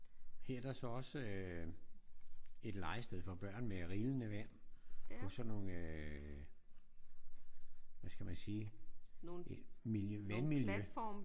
Her der er så også øh et legested for børn med rillende vand på sådan nogle øh hvad skal man sige vandmiljø